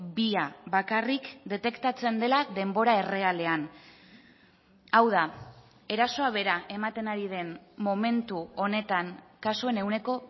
bia bakarrik detektatzen dela denbora errealean hau da erasoa bera ematen ari den momentu honetan kasuen ehuneko